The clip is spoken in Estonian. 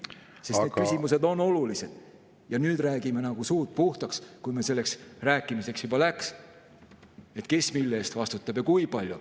Need küsimused on olulised ja nüüd me räägime nagu suud puhtaks, kui meil selleks rääkimiseks juba läks, et kes mille eest vastutab ja kui palju.